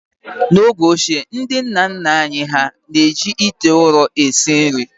N’oge ochie, ndi nna nna anyị hà na-eji ite ụrọ esi nri